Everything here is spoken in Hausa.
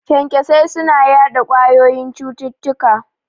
Kyankyasai suna yaɗa ƙwayoyin cututtuka